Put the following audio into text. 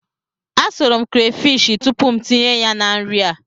Asụrụ m krefishi tupu m tinye ya na nri a.